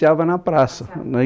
na praça